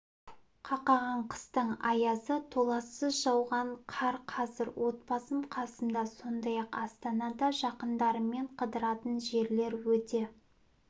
қақаған қыстың аязы толассыз жауған қар қазір отбасым қасымда сондай-ақ астанада жақындарыммен қыдыратын жерлер өте